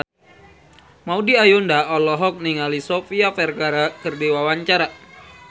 Maudy Ayunda olohok ningali Sofia Vergara keur diwawancara